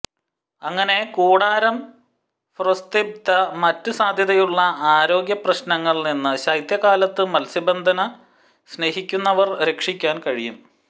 അങ്ങനെ കൂടാരം ഫ്രൊസ്ത്ബിതെ മറ്റ് സാധ്യതയുള്ള ആരോഗ്യ പ്രശ്നങ്ങൾ നിന്ന് ശൈത്യകാലത്ത് മത്സ്യബന്ധന സ്നേഹിക്കുന്നവർ രക്ഷിക്കാൻ കഴിയും